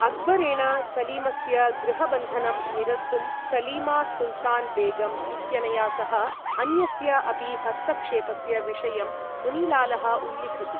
अक्बरेण सलीमस्य गृहबन्धनं निरस्तुं सलीमा सुल्तान बेगम् इत्यनया सह अन्यस्य अपि हस्तक्षेपस्य विषयं मुनिलालः उल्लिखति।